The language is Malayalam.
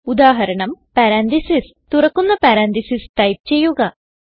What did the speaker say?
ഉദാഹരണം പരന്തീസസ് തുറക്കുന്ന പരന്തീസസ് ടൈപ്പ് ചെയ്യുക